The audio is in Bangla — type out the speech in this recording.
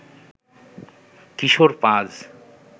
কিশোর পাজ